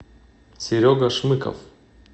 серега шмыков